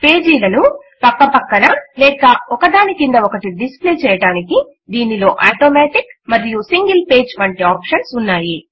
పాజీల ను ప్రక్క ప్రక్కన లేక ఒకదాని క్రింద ఒకటి డిస్ప్లే చేయడానికి దీనిలో ఆటోమాటిక్ మరియు సింగిల్ పేజ్ వంటి ఆప్షన్స్ ఉన్నాయి